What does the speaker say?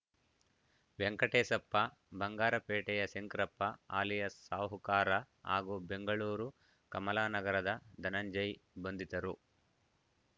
ವೆಂಕಟೇಶಪ್ಪ ಬಂಗಾರಪೇಟೆಯ ಶಂಕರಪ್ಪ ಅಲಿಯಾಸ್‌ ಸಾಹುಕಾರ ಹಾಗೂ ಬೆಂಗಳೂರು ಕಮಲಾನಗರದ ಧನಂಜಯ್‌ ಬಂಧಿತರು